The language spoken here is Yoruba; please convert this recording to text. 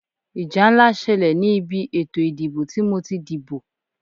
Ìjà ńlá ṣẹlẹ̀ ni ìbí ètò ìdìbò tí mo ti díbó.